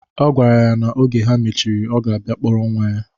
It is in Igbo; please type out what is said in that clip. Ọ gwara ya na oge ha mechiri, ọ ga-abia kpọrọ nwa ya.